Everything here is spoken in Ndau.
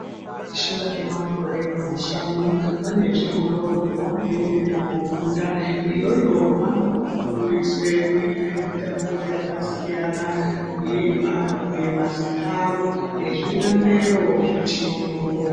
Veshe vane makore mashanu vane zvikorawo zvavanoende koofunda, iyoyo vanofundiswe kuita mitambo yakasiyana kuemba, kubhuye mazita avo nezvilandero zvechiyungu.